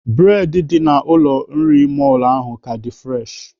Bụredị ndị ụlọ nri mọlụ ahụ ka dị fụreshị.